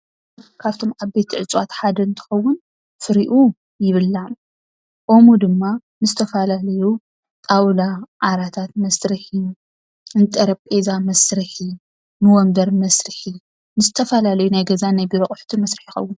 ካብቶም ዓበይቲ እፀዋት ሓደ እንትኸውን ፍሪኡ ይብላዕ። ኦሙ ድማ ንዝተፈላለዩ ጣውላ ፣ ዓራታት መስርሒ፣ ንጠረጼዛ መስርሒ ፣ ንወንበር መስርሒ ንዝተፈላለዩ ናይ ገዛን ናይ ቢሮ ኣቑሑትን መስርሒ ይኸውን፡፡